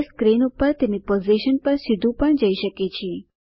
તે સ્ક્રીન પર તેની પોઝિશન પર સીધું પણ જઈ શકે છે